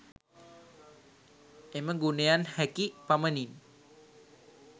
එම ගුණයන් හැකි පමණින්